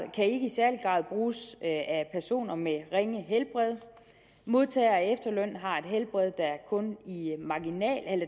bruges af personer med ringe helbred modtagere af efterlønnen har et helbred